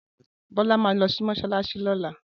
Bola ma lo si mosalasi lola